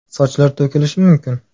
Sochlar to‘kilishi mumkin.